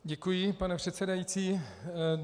Děkuji, pane předsedající.